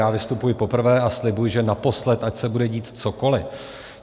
Já vystupuji poprvé a slibuji, že naposled, ať se bude dít cokoli.